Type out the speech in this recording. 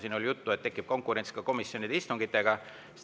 Siin oli juttu, et tekib konkurents komisjonide istungitega.